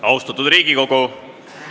Austatud Riigikogu!